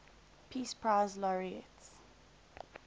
peace prize laureates